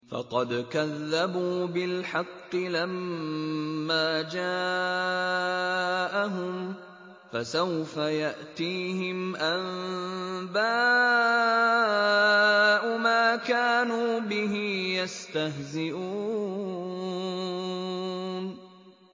فَقَدْ كَذَّبُوا بِالْحَقِّ لَمَّا جَاءَهُمْ ۖ فَسَوْفَ يَأْتِيهِمْ أَنبَاءُ مَا كَانُوا بِهِ يَسْتَهْزِئُونَ